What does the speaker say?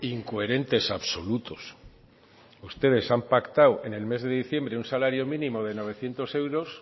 incoherentes absolutos ustedes han pactado en el mes de diciembre un salario mínimo de novecientos euros